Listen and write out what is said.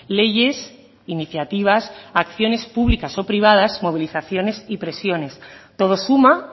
leyes iniciativas acciones públicas o privadas movilizaciones y presiones todo suma